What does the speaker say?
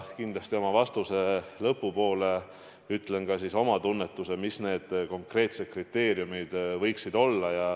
Kindlasti oma vastuse lõpu poole ma ütlen oma tunnetuse, mis need konkreetsed kriteeriumid võiksid olla.